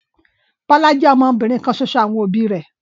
Bọ́lá jẹ́ ọmọbìnrin kan ṣoṣo àwọn òbí rẹ̀.